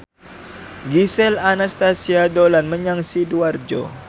Gisel Anastasia dolan menyang Sidoarjo